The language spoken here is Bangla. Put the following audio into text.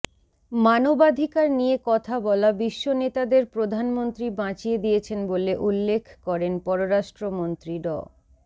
মানবাধিকার নিয়ে কথা বলা বিশ্বনেতাদের প্রধানমন্ত্রী বাঁচিয়ে দিয়েছেন বলে উল্লেখ করেন পররাষ্ট্রমন্ত্রী ড